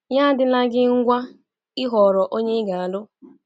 Ya adịla gi ngwa ịhọrọ onye ị ga-alụ!